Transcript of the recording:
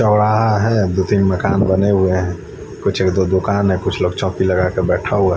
चोराहा है दो तीन मकान बने हुए है कुछ दो दुकान है कुछ लोग चोकी लगा कर के बेठा हुआ है ।